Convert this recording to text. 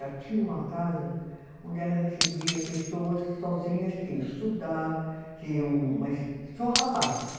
Ela tinha uma casa onde ela recebia pessoas sozinhas que iam estudar, que iam, mas só rapazes.